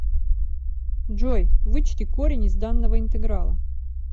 джой вычти корень из данного интеграла